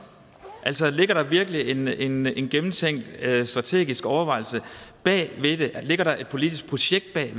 ligger der virkelig en en gennemtænkt strategisk overvejelse bag det ligger der et politisk projekt bag